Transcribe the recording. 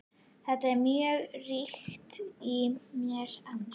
Þetta er mjög ríkt í mér enn.